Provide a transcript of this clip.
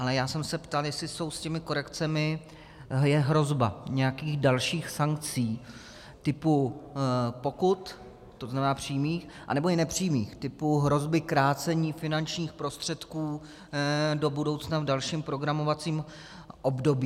Ale já jsem se ptal, jestli jsou s těmi korekcemi, je hrozba nějakých dalších sankcí typu "pokud", to znamená přímých, anebo i nepřímých, typu hrozby krácení finančních prostředků do budoucna v dalším programovacím období.